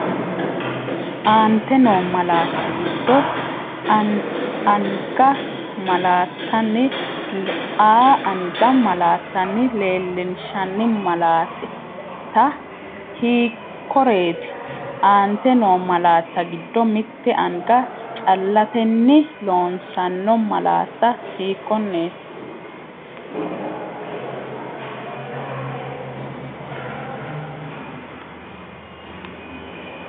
Aante noo malaatta giddo “A”anga malaattanni leellinshanni malaat- ta hiikkoreeti? Aante noo malaatta giddo mitte anga callatenni loosanno malaati hiikkonneeti?